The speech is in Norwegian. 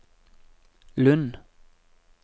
Lund